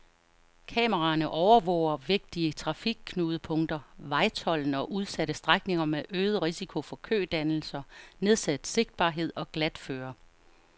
Kameraerne overvåger vigtige trafikknudepunkter, vejtolden og udsatte strækninger med øget risiko for kødannelser, nedsat sigtbarhed og glatføre.